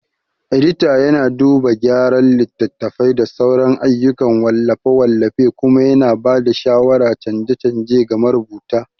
Edita yana duba gyara littattafai da sauran ayyukan wallafe-wallafe kuma yana ba da shawarar canje-canje ga marubuta.